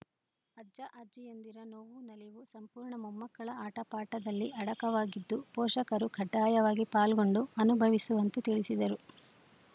ಅಜ್ಜಅಜ್ಜಿಯಂದಿರ ನೋವು ನಲಿವು ಸಂಪೂರ್ಣ ಮೊಮ್ಮಕ್ಕಳ ಆಟಪಾಠದಲ್ಲಿ ಅಡಕವಾಗಿದ್ದು ಪೋಷಕರು ಕಡ್ಡಾಯವಾಗಿ ಪಾಲ್ಗೊಂಡು ಅನುಭವಿಸುವಂತೆ ತಿಳಿಸಿದರು